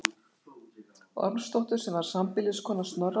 Ormsdóttur sem var sambýliskona Snorra þegar hér var komið sögu.